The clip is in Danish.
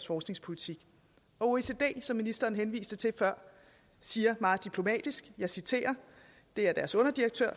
forskningspolitik oecd som ministeren henviste til før siger meget diplomatisk det er deres underdirektør